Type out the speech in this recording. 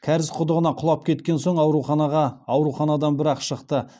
кәріз құдығына құлап кеткен соң ауруханадан бір ақ шықты